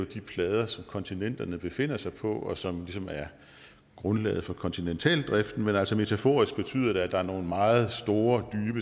de plader som kontinenterne befinder sig på og som ligesom er grundlaget for kontinentaldriften men altså metaforisk betyder det at der er nogle meget store